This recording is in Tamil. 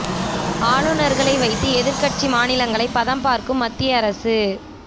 ஆளுநர்களை வைத்து எதிர் கட்சி மாநிலங்களை பதம் பார்க்கும் மத்திய அரசு